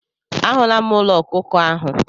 A hụla m ụlọ ọkụkọ ahụ.